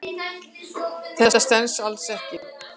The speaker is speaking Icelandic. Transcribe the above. Þetta stenst alls ekki.